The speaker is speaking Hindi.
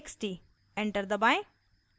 enter दबाएं